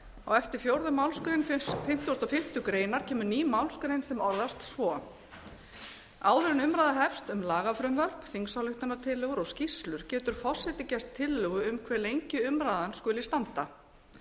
á eftir fjórðu málsgrein fimmtugustu og fimmtu grein kemur ný málsgrein sem orðast svo áður en umræða hefst um lagafrumvörp þingsályktunartillögur og skýrslur getur forseti gert tillögu um hve lengi umræðan skuli standa